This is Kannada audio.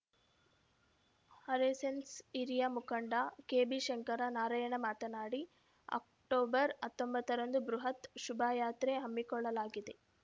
ಆರೆಸ್ಸೆಸ್‌ ಹಿರಿಯ ಮುಖಂಡ ಕೆಬಿಶಂಕರ ನಾರಾಯಣ ಮಾತನಾಡಿ ಅಕ್ಟೋಬರ್ ಹತ್ತೊಂಬತ್ತರಂದು ಬೃಹತ್‌ ಶೋಭಾಯಾತ್ರೆ ಹಮ್ಮಿಕೊಳ್ಳಲಾಗಿದೆ